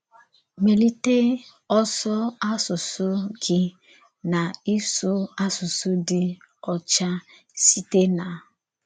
Mèlítè Ọ́sọ̀ Àsụsụ Gí na Ị́sụ̀ Àsụsụ Dì Ọ́chà sîte na...